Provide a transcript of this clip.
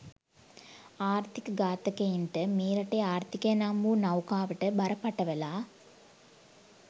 ආර්ථික ඝාතකයන්ට මේ රටේ ආර්ථිකය නම් වූ නොෟකාවට බර පටවලා